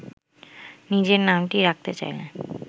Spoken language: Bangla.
নিজের নামটি রাখতে চাইলে